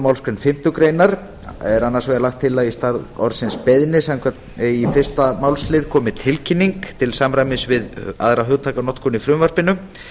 málsgrein fimmtu grein er annars vegar lagt til að í stað orðsins beiðni í fyrsta málslið komi orðið tilkynning til samræmis við aðra hugtakanotkun í frumvarpinu